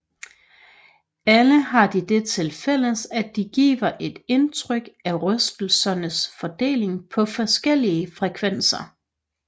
Alle har de det til fælles at de giver et indtryk af rystelsernes fordeling på forskellige frekvenser